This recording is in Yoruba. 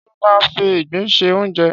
Ṣé ó máa ń fi ìgbín se oúnjẹ?